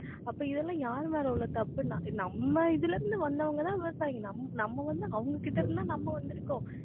அப்ப இதெல்லாம் யாரு மேல உள்ள தப்புன்னா நம்ம இதில இருந்து வந்தவங்கதான் விவசாயிங்க நம்ம வந்து, அவங்க கிட்ட இருந்து தான் நம்ம வந்திருக்கோம்